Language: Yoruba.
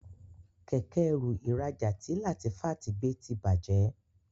Kẹ̀kẹ́-ẹrù ìrajà tí Latifat gbé tí bàjé.